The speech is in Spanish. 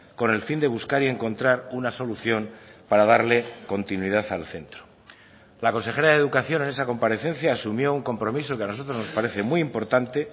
con el fin de buscar y encontrar una solución para darle continuidad al centro la consejera de educación en esa comparecencia asumió un compromiso que a nosotros nos parece muy importante